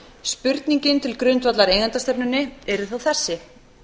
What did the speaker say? spurningin til grundvallar eigendastefnunni yrði þá þessi